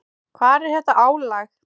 Hvar er þetta álag?